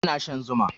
Yana shan zuma